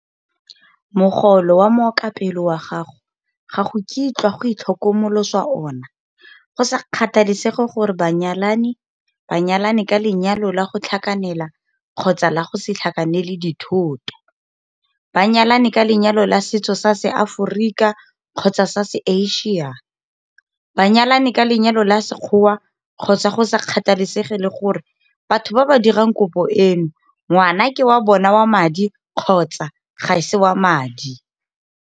Mogolo wa mookapelo wa gago ga go kitlwa go itlhokomoloswa ona go sa kgathalesege gore banyalani ba nyalane ka lenyalo la go tlhakanela kgotsa la go se tlhakanele dithoto, ba nyalane ka lenyalo la setso sa Seaforika kgotsa sa se-Asia, ba nyalane ka lenyalo la sekgoa kgotsa go sa kgathalesege le gore batho ba ba dirang kopo eno ngwana ke wa bona wa madi kgotsa ga se wa madi.